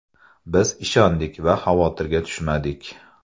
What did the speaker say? Biz ishondik va xavotirga tushmadik.